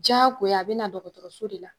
Jagoya a bɛ na dɔgɔtɔrɔso de la.